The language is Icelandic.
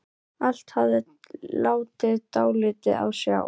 Hafsteinn Hauksson: Glimmerinu?